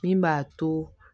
Min b'a to